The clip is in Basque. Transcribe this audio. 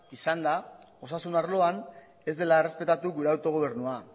izan da osasun arloan ez dela errespetatu gure autogobernua